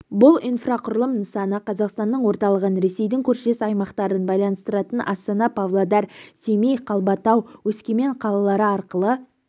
бұл инфрақұрылым нысаны қазақстанның орталығын ресейдің көршілес аймақтарын байланыстыратын астана павлодар семей қалбатау өскемен қалалары арқылы